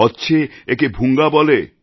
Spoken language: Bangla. কচ্ছে একে ভুঙ্গাবলে